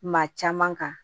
Maa caman kan